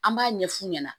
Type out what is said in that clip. An b'a ɲɛ f'u ɲɛna